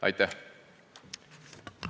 Aitäh!